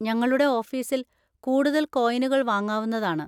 ഞങ്ങളുടെ ഓഫീസിൽ കൂടുതൽ കോയിനുകൾ വാങ്ങാവുന്നതാണ്.